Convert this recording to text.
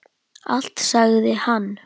Allt sagði hann.